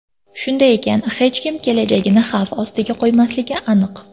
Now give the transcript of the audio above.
Shunday ekan, hech kim kelajagini xavf ostiga qo‘ymasligi aniq.